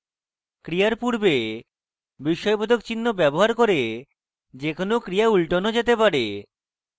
ক্রিয়ার পূর্বে বিস্ময়বোধক চিহ্ন ব্যবহার করে যে কোনো ক্রিয়া উল্টানো যেতে পারে